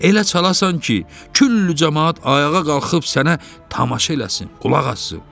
Elə çalasan ki, küllü camaat ayağa qalxıb sənə tamaşa eləsin, qulaq assın.